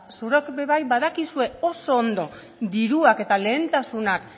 zuek ere bai badakizue oso ondo diruak eta lehentasunak